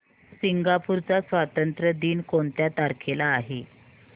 Singapore चा स्वातंत्र्य दिन कोणत्या तारखेला आहे